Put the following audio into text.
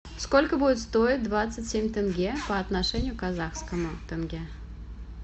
сколько будет стоить двадцать семь тенге по отношению к казахскому тенге